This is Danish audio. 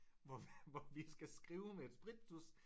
Hvor hvor vi skal skrive med et sprittusch